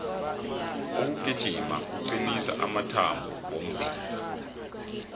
ukugijima kucnisa amathambo womzimba